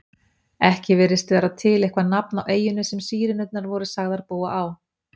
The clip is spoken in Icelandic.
Ekki virðist vera til eitthvað nafn á eyjunni sem Sírenurnar voru sagðar búa á.